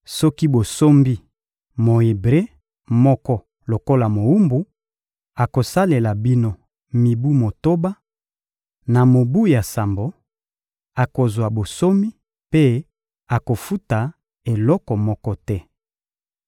«Soki bosombi Mo-Ebre moko lokola mowumbu, akosalela bino mibu motoba; na mobu ya sambo, akozwa bonsomi mpe akofuta eloko moko te.